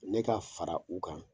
Ne ka fara u kan